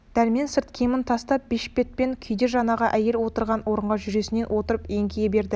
дәрмен сырт киімін тастап бешпетшең күйде жаңағы әйел отырған орынға жүресінен отырып еңкейе берді